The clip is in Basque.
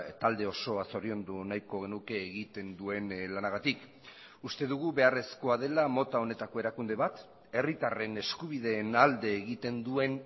talde osoa zoriondu nahiko genuke egiten duen lanagatik uste dugu beharrezkoa dela mota honetako erakunde bat herritarren eskubideen alde egiten duen